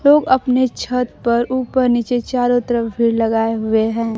लोग अपने छत पर ऊपर नीचे चारों तरफ भीड़ लगाए हुए हैं।